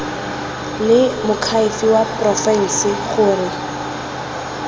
le moakhaefe wa porofense gore